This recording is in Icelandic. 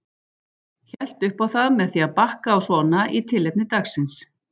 Hélt upp á það með því að bakka á svona í tilefni dagsins.